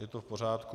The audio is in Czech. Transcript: Je to v pořádku.